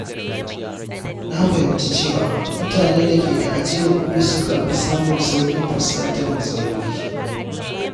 Na fahimci cewa mutane da ke da ajiyar kuɗi sukan fi samun sauƙin fuskantar matsaloli.